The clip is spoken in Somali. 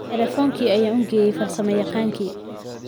Taleefankii ayaan u geeyey farsamayaqaankii